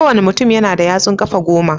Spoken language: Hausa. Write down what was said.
Ko wanna mutum yana da yatsun kafa goma.